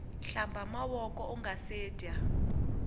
hkamba mavoko ungase dya